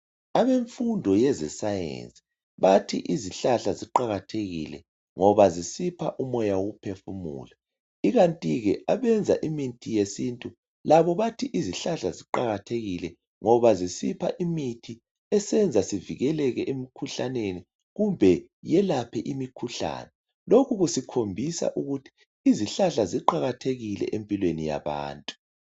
Abemfundo yezeScience bathi izihlahla ziqakathekile ngoba zisipha umoya wokuphefumula, ikantike abenza imithi yesintu labo bathi izihlahla ziqakathekile ngoba zisipha imithi esenza sivikeleke emkhuhlaneni kumbe yelaphe imikhuhlane. Lokhu kusikhombisa ukuthi izihlahla ziqakathekile empilweni yabantu.